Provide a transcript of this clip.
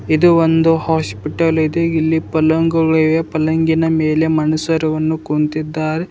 ಇದು ಒಂದು ಹಾಸ್ಪಿಟಲ್ ಇದೆ ಇಲ್ಲಿ ಪಲ್ಲಂಗಗಳು ಇವೆ ಪಲ್ಲಂಗಿನ ಮೇಲೆ ಮನುಷರುವನ್ನು ಕುಂತಿದ್ದಾರೆ.